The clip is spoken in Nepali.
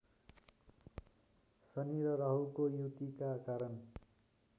शनि र राहुको युतिका कारण